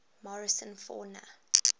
morrison fauna